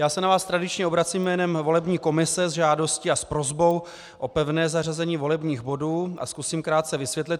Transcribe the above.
Já se na vás tradičně obracím jménem volební komise se žádostí a s prosbou o pevné zařazení volebních bodů a zkusím krátce vysvětlit.